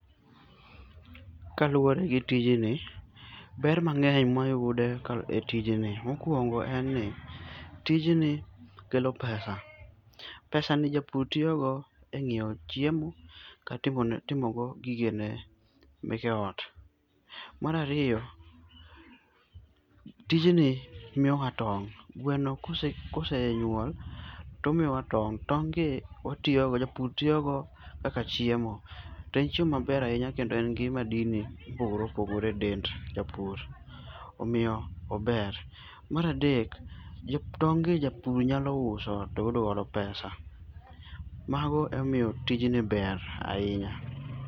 Kaluwore gi tijni, ber mang'eny ma wayudo e tijni, mokuongo en ni tijni kelo pesa, pesani japur tiyo go e ng'iewo chiemo kata timo go gige ot. Mar ariyo, tijni miyowa tong'. Gweno ka osenyuol, to omiyowa ton g'. Tong' gi watiyogo, japur tiyogo kaka chiemo. To en chiemo maber ahinya kendo en gi madini mopogore edend japur. Omiyo ober. Mar adek, tong' gi japur nyalo uso to oyud godo pesa. Mago emomiyo tijni ber ahinya.